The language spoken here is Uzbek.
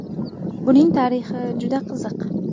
Buning tarixi juda qiziq.